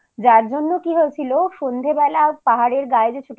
যারজন্য কি হয়েছিল সন্ধ্যেবেলার পাহাড়ের গায়ে যে ছোট